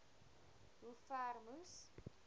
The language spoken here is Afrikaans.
hoe ver moes